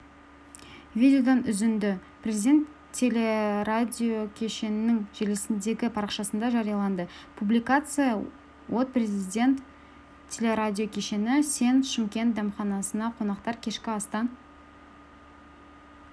видеодан үзінді президент телерадиокешенінің желісіндегі парақшасында жарияланды публикация от президент телерадиокешені сен шымкент дәмханасында қонақтар кешкі астан